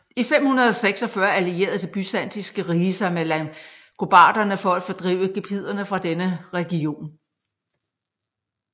I 546 allierede Det byzantinske rige sig med langobarderne for at fordrive gepiderne fra denne region